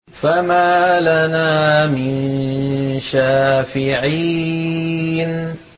فَمَا لَنَا مِن شَافِعِينَ